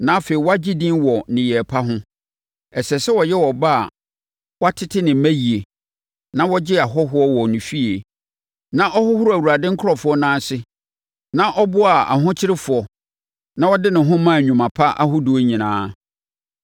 na afei wagye din wɔ nneyɛeɛ pa ho. Ɛsɛ sɛ ɔyɛ ɔbaa a watete ne mma yie na ɔgyee ahɔhoɔ wɔ ne fie na ɔhohoroo Awurade nkurɔfoɔ nan ase na ɔboaa ahokyerefoɔ na ɔde ne ho maa nnwuma pa ahodoɔ nyinaa.